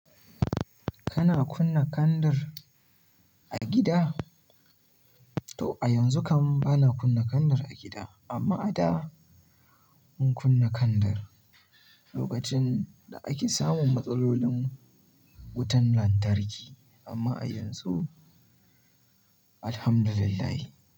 Kana kunna kandar a gida? To a yanzu kam bana kunna kandir a gida, amma a da mun kunna kandar lokacin da ake samun matsalolin wutan lantarki, amma a yanzu Alhamdulillah.